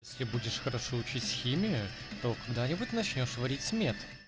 если будешь хорошо учить химию то когда-нибудь начнёшь варить мет